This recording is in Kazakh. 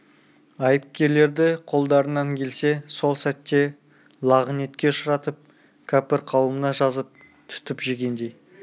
айыпкерлерді қолдарынан келсе сол сәтте лағынетке ұшыратып кәпір қауымына жазып түтіп жегендей